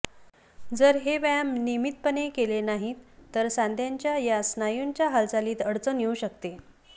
जर हे व्यायाम नियमितपणे केले नाहीत तर सांध्यांच्या या स्नायुंच्या हालचालीत अडचण येऊ शकते